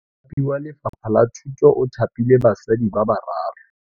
Mothapi wa Lefapha la Thutô o thapile basadi ba ba raro.